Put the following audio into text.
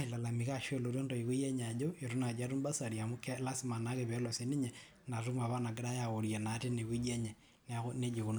ailalamika aashu kelotu naayi intoiwo enye ajo eitu nayii atum basarii amu lasima naake peelo sinye ina tumo apa nagiray aworie naa teine weji enye neeku naa nejia ekununo.